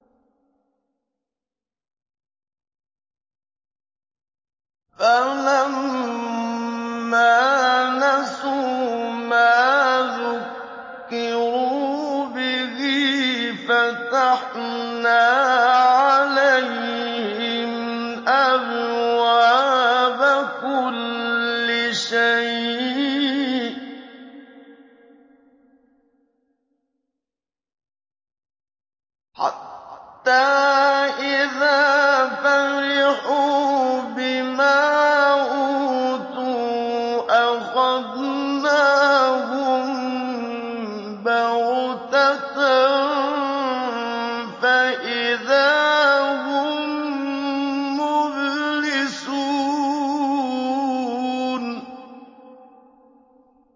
فَلَمَّا نَسُوا مَا ذُكِّرُوا بِهِ فَتَحْنَا عَلَيْهِمْ أَبْوَابَ كُلِّ شَيْءٍ حَتَّىٰ إِذَا فَرِحُوا بِمَا أُوتُوا أَخَذْنَاهُم بَغْتَةً فَإِذَا هُم مُّبْلِسُونَ